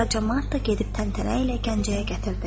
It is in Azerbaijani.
Qara camaat da gedib təntənə ilə Gəncəyə gətirdi.